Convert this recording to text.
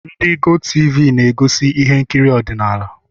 Ndị gotivi na-egosi ihe nkiri ọdịnala